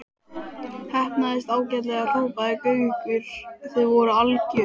Heppnaðist ágætlega hrópaði Gaukur, þið voruð algjört.